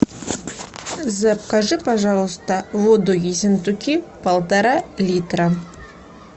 закажи пожалуйста воду ессентуки полтора литра